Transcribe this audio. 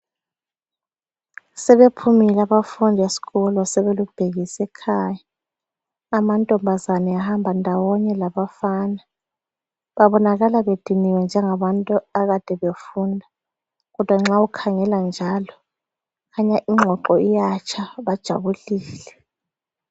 Sebephumile abafundi esikolo sebelubhekise ekhaya amantombazana ehamba ndawonye labafana, babonakala bediniwe njengabantu akade befunda kodwa nxa ukhangela njalo kukhanya ingxoxo iyatsha bajabulile.